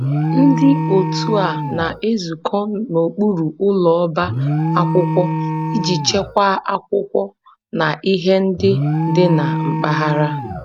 Ndị otu a na-ezukọ n'okpuru ụlọ ọba akwụkwọ iji chekwaa akwụkwọ na ihe ndị dị na mpaghara